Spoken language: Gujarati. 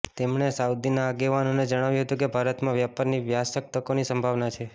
તેમણે સાઉદીના આગેવાનોને જણાવ્યુ હતુ કે ભારતમાં વ્યાપારની વ્યારક તકોની સંભાવના છે